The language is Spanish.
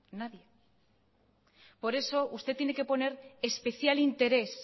por eso usted tiene que poner especial interés